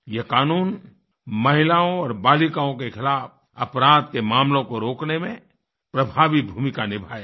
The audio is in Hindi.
यह कानून महिलाओं और बालिकाओं के खिलाफ़ अपराध के मामलों को रोकने में प्रभावी भूमिका निभायेगा